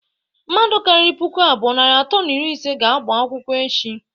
Mmadu kariri puku abụọ, narị atọ na iri ise ga-agba akwụkwọ echi..